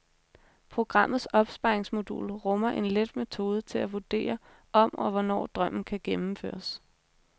Programmets opsparingsmodul rummer en let metode til at vurdere, om og hvornår drømmen kan gennemføres.